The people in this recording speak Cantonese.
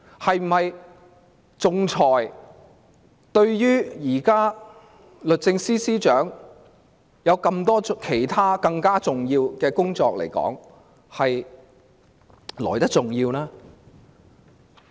推廣仲裁是否比律政司司長眼前的其他工作更為重要？